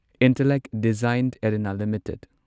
Intellect Design Arena limited